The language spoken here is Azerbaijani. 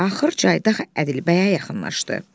Axır Caydaq Ədilbəyə yaxınlaşdı.